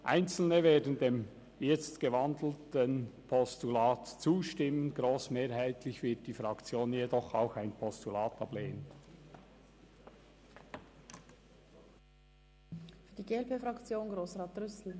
Einzelne werden dem von der in ein Postulat umgewandelten Motion zustimmen, grossmehrheitlich wird die FDP-Fraktion jedoch auch ein Postulat ablehnen.